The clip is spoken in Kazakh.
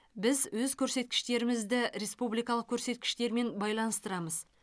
біз өз көрсеткіштерімізді республикалық көрсеткіштермен байланыстырамыз